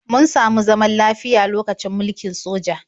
Mun samu zaman lafiya lokacin mulkin sojoji.